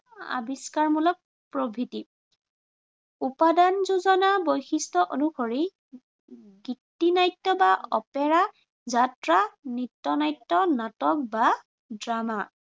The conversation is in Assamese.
আৱিষ্কাৰমুলক প্ৰভৃতি উপাদান যোজনা বৈশিষ্ট্য় অনুসৰি গীতিনাট্য় বা অপেৰা, যাত্ৰা, নৃত্য়নাট্য়, নাটক বা ড্ৰামা